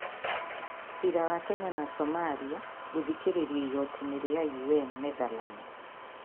Ciira wa Kenya na Somalia gũthikĩrĩrio igoti-inĩ rĩa UN, Netherlands.